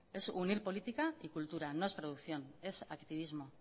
es unir política y cultura no es producción es activismo